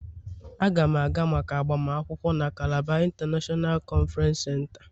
Aga m aga maka agbamakwụkwọ na Calabar international conference center.